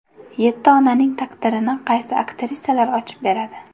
Yetti onaning taqdirini qaysi aktrisalar ochib beradi?